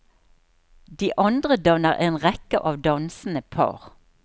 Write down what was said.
De andre danner en rekke av dansende par.